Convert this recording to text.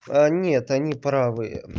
нет они правы